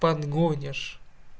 подгонишь